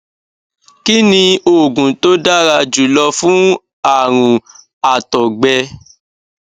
kí ni oògùn tó dára jù lọ fún àrùn àtògbẹ